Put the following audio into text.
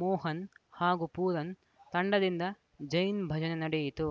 ಮೋಹನ್‌ ಹಾಗೂ ಪೂರನ್‌ ತಂಡದಿಂದ ಜೈನ್‌ ಭಜನೆ ನಡೆಯಿತು